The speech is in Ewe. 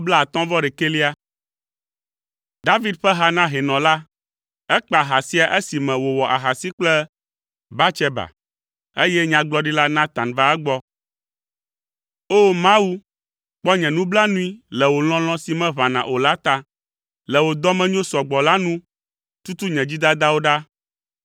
David ƒe ha na hɛnɔ la. Ekpa ha sia esime wòwɔ ahasi kple Batseba, eye Nyagblɔɖila Natan va egbɔ. O! Mawu, kpɔ nye nublanui le wò lɔlɔ̃ si meʋãna o la ta. Le wò dɔmenyo sɔgbɔ la nu, tutu nye dzidadawo ɖa.